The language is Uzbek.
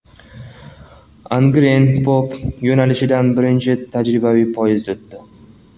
Angren-Pop yo‘nalishidan birinchi tajribaviy poyezd o‘tdi .